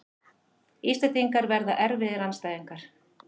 Íslendingar verða erfiðir andstæðingar